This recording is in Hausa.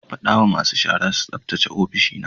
Fada wa masu shara su tsaftace ofishina.